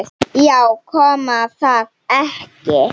Já, kom það ekki!